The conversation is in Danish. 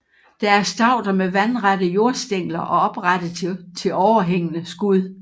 Det er stauder med vandrette jordstængler og oprette til overhængende skud